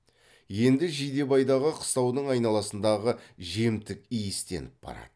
енді жидебайдағы қыстаудың айналасындағы жемтік иістеніп барады